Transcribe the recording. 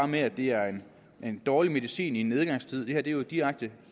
med at det er en dårlig medicin i en nedgangstid det her er jo direkte